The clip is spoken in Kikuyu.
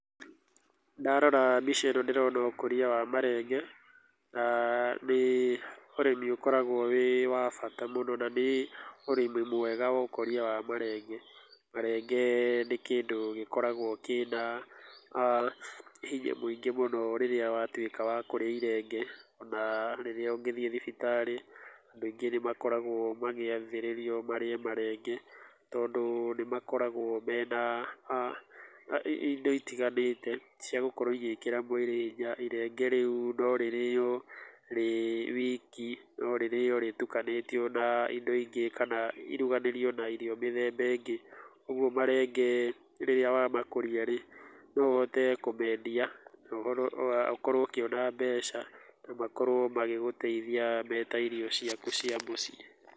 Ndarora mbica ĩno ndĩrona ũkũria wa marenge, na nĩ ũrĩmi ũkoragwo wĩ wa bata mũno na nĩ ũrĩmi mwega wa ũkũria wa marenge. Marenge nĩ kĩndũ gĩkoragwo kĩna hinya mũingĩ mũno rĩrĩa watwĩka wa kũrĩa irenge ona rĩrĩa ũngĩthie thibitarĩ, andũ aingĩ nĩmakoragwo magĩathĩrĩrio marĩe marenge, tondú, nĩmakoragwo mena, indo itiganĩte ciagũkorwo igĩĩkĩra mwĩrĩ hinya, irenge rĩu norĩrĩo rĩ wiki norĩrĩo rĩtukanĩtio na indo ingĩ kana iruganĩrio na irio mĩthemba ĩngĩ, ũguo marenge rĩrĩa wamakũria rĩ, no ũhote kúmendia noũhoro nokorwo ũkĩona mbeca na makorwo magĩgũteithia meta irio ciaku cia mũciĩ.